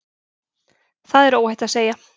Það er óhætt að segja.